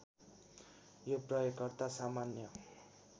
यो प्रयोगकर्ता सामान्य